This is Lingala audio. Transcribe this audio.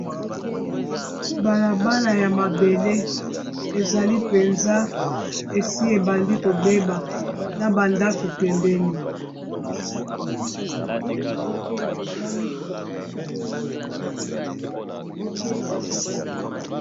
balabala ya mabele ezali penza esi ebandi kobeba na bandako pembeni